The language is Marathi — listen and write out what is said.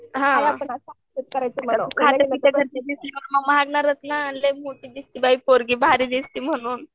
हां खात्या पित्या घरची दिसल्यावर मग मागणारच ना मग लई मोठी दिसती बाई पोरगी भारी दिसती म्हणून.